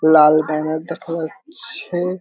লাল banner দেখা যাচ্ছে।